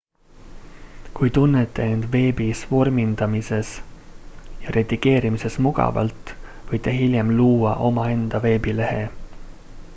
kui tunnete end veebis vormindamises ja redigeerimises mugavalt võite hiljem luua omaenda veebilehe